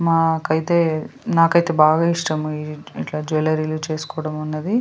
మాకైతే నాకైతే బాగా ఇష్టం ఇట్లా జ్యువలరిలు చేసుకోవడం అనేది.